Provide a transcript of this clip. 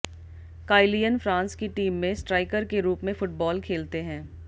Kylian France की team में striker के रूप में फुटबॉल खेलते हैं